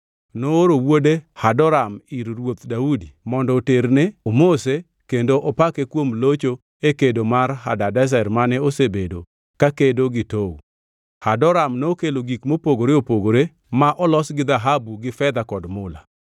nooro wuode Hadoram ir Ruoth Daudi mondo oterne omose kendo opake kuom locho e kedo kod Hadadezer mane osebedo kakedo gi Tou. Hadoram nokelo gik mopogore opogore ma olos gi dhahabu gi fedha kod mula.